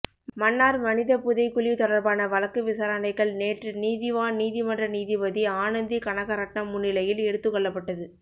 மன்னார் மனிதப் புதைகுழி தொடர்பான வழக்கு விசாரணைகள் நேற்று நீதிவான் நீதிமன்ற நீதிபதி ஆனந்தி கனகரட்ணம் முன்னிலையில் எடுத்துக் கொள்ளப்பட்டது